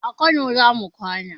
A kano zamu kwana